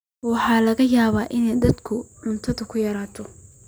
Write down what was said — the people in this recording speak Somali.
Waxaa laga yaabaa in dadku ay cuntadu yaraato.